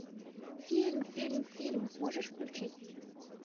фильм фильм фильм можешь включить